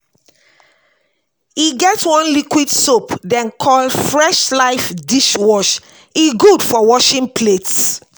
e get one liquid soap dem call fresh-life dishwash, e gud for washing plates